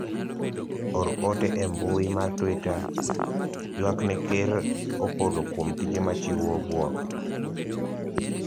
or ote e mbui mar twita ywak ne ker Opolo kuom tije ma chiwo buok